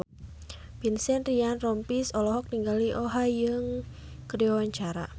Vincent Ryan Rompies olohok ningali Oh Ha Young keur diwawancara